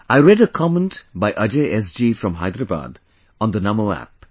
I read a comment by Ajay SG from Hyderabad on the NaMo app